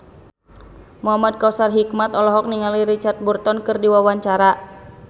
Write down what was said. Muhamad Kautsar Hikmat olohok ningali Richard Burton keur diwawancara